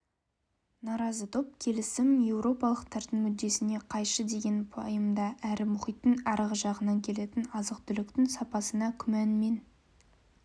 наразы топ келісім еуропалықтардың мүддесіне қайшы деген пайымда әрі мұхиттың арғы жағынан келетін азық-түліктің сапасына күмәнмен